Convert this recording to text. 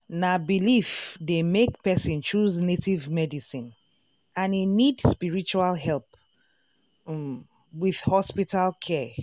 na belief dey make person choose native medicine and e need spiritual help um with hospital care.